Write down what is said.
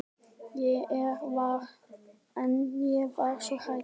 En ég var svo hrædd.